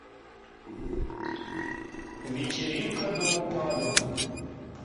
вечеринка до упаду